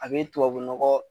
A be tubabu nɔgɔ